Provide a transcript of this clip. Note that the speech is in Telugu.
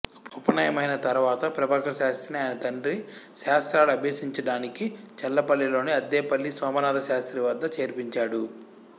ఉపనయనమైన తర్వాత ప్రభాకరశాస్త్రిని ఆయన తండ్రి శాస్త్రాలు అభ్యసించడానికి చల్లపల్లిలోని అద్దేపల్లి సోమనాథశాస్త్రి వద్ద చేర్పించాడు